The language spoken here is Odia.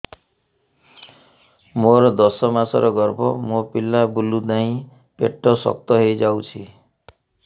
ମୋର ଦଶ ମାସର ଗର୍ଭ ମୋ ପିଲା ବୁଲୁ ନାହିଁ ପେଟ ଶକ୍ତ ହେଇଯାଉଛି